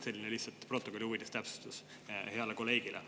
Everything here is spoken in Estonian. See on lihtsalt protokolli huvides selline täpsustus heale kolleegile.